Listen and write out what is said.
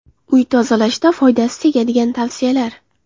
Uy tozalashda foydasi tegadigan tavsiyalar.